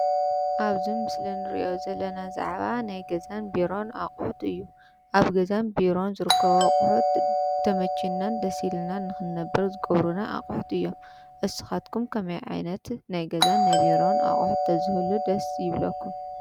ኣብዚ ምስሊ ንሪኦ ዘለና ብዛዕባ ናይ ገዛን ቢሮን ኣቑሑት እዩ። ኣብ ገዛን ቢሮን ዝረከቡ ኣቑሑት ተመቺናን ደስ ኢሉናን ንኽነብር ዝገብሩና ኣቑሑት እዮም። ንስኻትኩም ከመይ ዓይነት ናይ ገዛን ናይ ቢሮን ኣቁሑት ተዝህሉ ደስ ይብለኩም ?